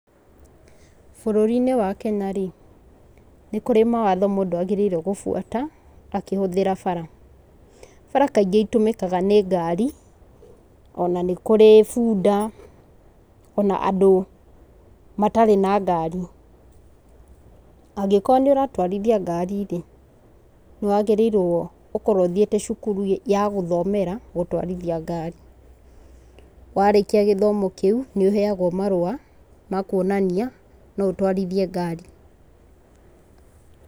Bũrũri-inĩ wa Kenya rĩ, nĩ kũrĩ mawatho mũndũ agĩrĩirwo gũbuata akĩhũthĩra bara, bara kaingĩ itũmĩkaga nĩ ngari, ona nĩ kũrĩ bunda ,ona andũ matarĩ na ngari. Angĩkorwo nĩũratwarithia ngari-rĩ nĩwagĩrĩirwo gũkorwo ũthiete cukuru wa gũthomera gũtwarithia ngari, warĩkia gĩthomo kĩu nĩũheyagwo marũa ma kuonania no ũtwarithie ngari.